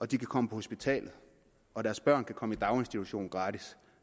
de kan komme på hospitalet og deres børn kan komme i daginstitution gratis